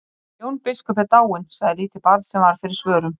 Jón biskup er dáinn, sagði lítið barn sem varð fyrir svörum.